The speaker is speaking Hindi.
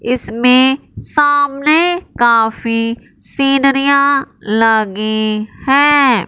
इसमें सामने काफी सीनरियां लगी हैं।